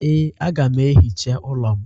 Ee, a ga m ehicha ụlọ m